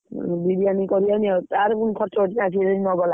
ବିରିୟାନି କରିଥାନ୍ତେ ତାର ପୁଣି ଖର୍ଚ୍ଚ ଅଛି କିଏ ଯଦି ନକଲା,